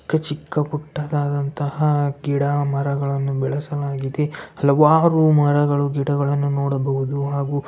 ಚಿಕ್ಕ ಚಿಕ್ಕ ಪುಟ್ಟದಾದಂತಹ ಗಿಡ ಮರಗಳನ್ನು ಬೆಳೆಸಬಹುದು ಹಲವಾರು ಮರಗಳು ಗಿಡಗಳನ್ನು ನೋಡಬಹುದು ಹಾಗು__